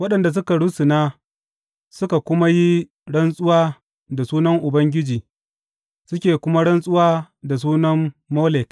Waɗanda suka rusuna suka kuma yi rantsuwa da sunan Ubangiji suke kuma rantsuwa da sunan Molek.